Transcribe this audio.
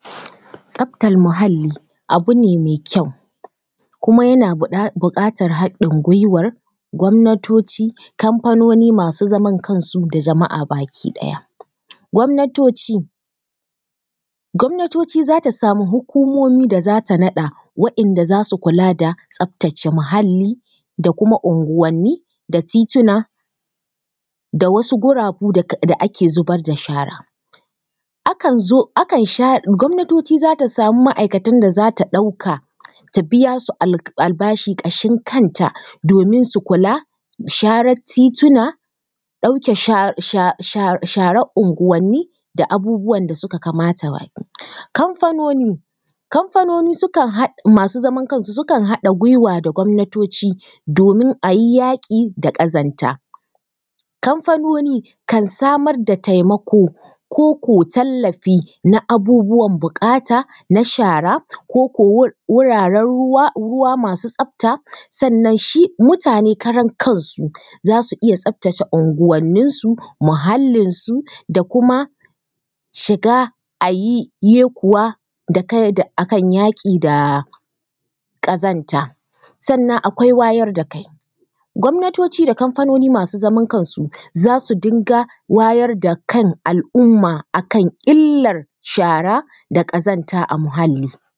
Tsaftar muhalli abu ne mai kyau kuma yana buƙatar haɗin gwiwar gwamnatoci, kamfanoni masu zaman kansu da jama’a baki ɗaya. Gwamnatoci, gwamnatoci za ta samu hukumomi da za ta naɗa waɗanda za su kula da tsaftace muhalli da kuma unguwanni da tituna da wasu gurabu da ake zubar da shara. Akan zo… akan share… gwamnatoci za ta samu ma’aikatan da za ta ɗauka, ta biya su albashi ƙashin kanta domin su kula, sharer tituna, ɗauke sha....... sharar unguwanni, da abubuwan da ba su kamata ba. Kamfanoni, kamfanoni sukan haɗa… masu zaman kansu sukan haɗa gwiwa da gwamnatoci domin a yi yaƙi da ƙazanta. Kamfanoni kan samar da taimako ko ko tallafi na abubuwan buƙata, na shara, ko ko wuraren ruwa… ruwa masu tsafta sannan shi mutane karan kansu za su iya tsaftece unguwanninsu, muhallinsu da kuma shiga a yi yekuwa da kai, a kan yaƙi da ƙazanta. Sannan akwai wayar da kai, gwamnatoci da kamfanoni masu zaman kansu kansu za su dinga wayar da kan al’umma a kan illar shara da ƙazanta a muhalli.